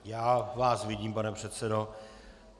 Já vás vidím, pane předsedo.